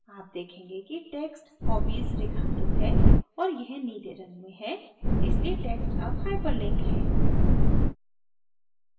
आप देखेंगे कि text hobbies रेखांकित है और यह नीले रंग में है इसलिए text अब hyperlink है